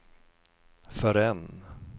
förrän